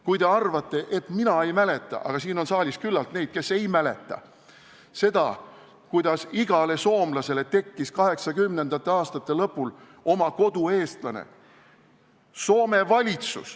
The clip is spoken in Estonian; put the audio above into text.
Kas te arvate, et mina ei mäleta – aga siin saalis on küllalt neid, kes ei mäleta – seda, kuidas igale soomlasele tekkis 1980. aastate lõpul oma kodueestlane?